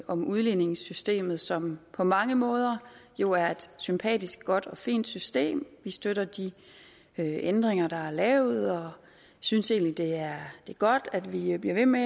om udligningssystemet som på mange måder jo er et sympatisk godt og fint system vi støtter de ændringer der er lavet og synes egentlig at det er godt at vi bliver ved med